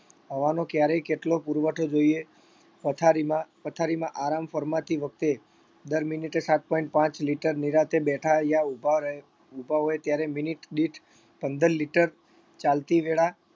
હવાનો ક્યારે કેટલો પુરવઠો જોઈએ પથારીમાં પથારીમાં આરામ ફરમાતી વખતે દર minute એ સાત point પાંચ liter નિરાંતે બેઠા યા ઉભા રહે ઉભા હોય ત્યારે minute દીઠ પંદર liter, ચાલતી વેળા